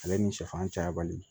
Ale ni sɛfan cayabali